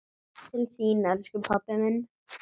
Til þín, elsku pabbi minn.